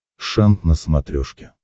шант на смотрешке